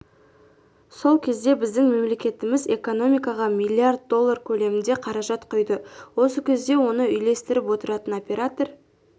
сол кезде біздің мемлекетіміз экономикаға млрд доллар көлемінде қаражат құйды осы кезде оны үйлестіріп отыратын оператор